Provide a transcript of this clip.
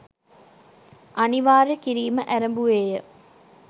අනිවාර්ය කිරීම ඇරැඹුවේ ය.